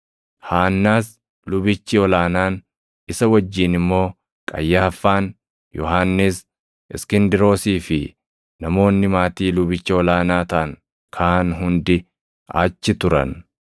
Haannaas lubichi ol aanaan, isa wajjin immoo Qayyaaffaan, Yohannis, Iskindiroosii fi namoonni maatii lubicha ol aanaa taʼan kaan hundi achi turan.